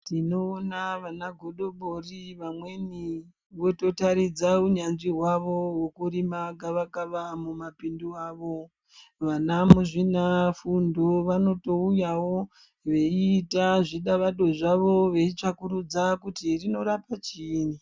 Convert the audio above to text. Tinoona vanagodobori vamweni vototaridza unyanzvi hwavo hwekurima gavakava mumapindu avo. Vana muzvinafundo vanotouyawo veiita zvidavado zvavo veitsvakurudza kuti rinorapa chiinyi.